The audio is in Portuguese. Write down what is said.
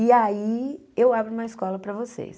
E aí, eu abro uma escola para vocês.